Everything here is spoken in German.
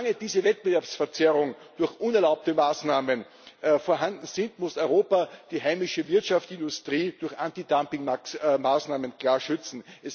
Solange diese Wettbewerbsverzerrung durch unerlaubte Maßnahmen vorhanden ist, muss Europa die heimische Wirtschaft und Industrie durch Antidumping Maßnahmen klar schützen.